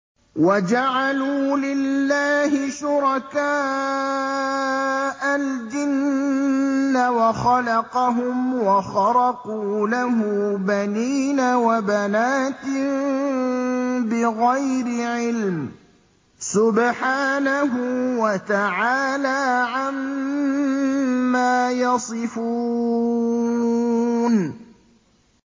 وَجَعَلُوا لِلَّهِ شُرَكَاءَ الْجِنَّ وَخَلَقَهُمْ ۖ وَخَرَقُوا لَهُ بَنِينَ وَبَنَاتٍ بِغَيْرِ عِلْمٍ ۚ سُبْحَانَهُ وَتَعَالَىٰ عَمَّا يَصِفُونَ